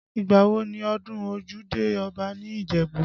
Ìgbà wo ni ọdún ojúde Ọba ní Ìjẹ̀bú?